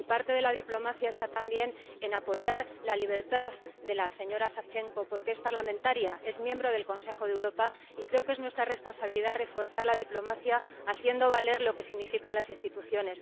Y parte de la diplomacia está también en apoyar la libertad de la señora Savchenko, porque es parlamentaria, es miembro del Consejo de Europa, y creo que es nuestra responsabilidad reforzar la diplomacia, haciendo valer lo que significan las instituciones.